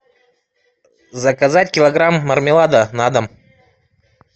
заказать килограмм мармелада на дом